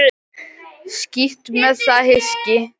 Skítt með það hyski.